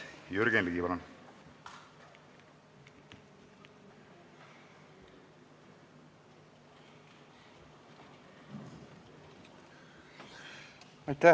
Jürgen Ligi, palun!